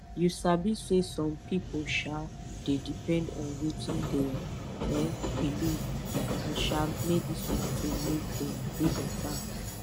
you sabi saysome pipu um dey depend on wetin dem um believe and um medicine to make dem dey beta